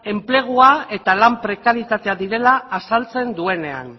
enplegua eta lan prekaritatea direla azaltzen duenean